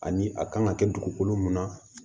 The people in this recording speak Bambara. Ani a kan ka kɛ dugukolo mun na